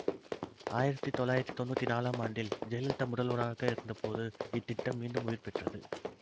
ஆயிரத்தி தொள்ளாயிரத்தி தொன்னூத்தி நாலாம் ஆண்டில் ஜெயலலிதா முதல்வராக இருந்தபோது இத்திட்டம் மீண்டும் உயிர்பெற்றது